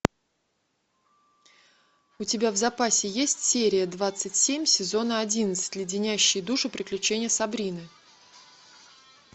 у тебя в запасе есть серия двадцать семь сезона одиннадцать леденящие душу приключения сабрины